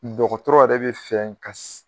Dɔdɔgɔtɔrɔ yɛrɛ bɛ fɛ ka